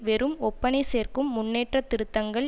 வெறும் ஒப்பனை சேர்க்கும் முன்னேற்றத் திருத்தங்கள்